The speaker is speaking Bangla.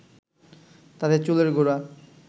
তাতে চুলের গোড়া